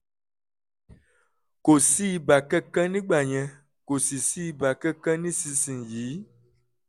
kò sí ibà kankan nígbà yẹn kò sì sí ibà kankan nísinsìnyí